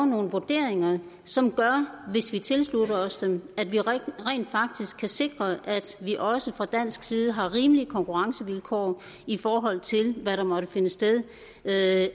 nogle vurderinger som gør at hvis vi tilslutter os dem kan vi rent faktisk sikre at vi også fra dansk side har rimelige konkurrencevilkår i forhold til hvad der måtte finde sted af